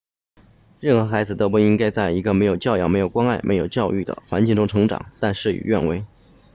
任何孩子都不应该在一个没有教养没有关爱没有教育的环境中成长但事与愿违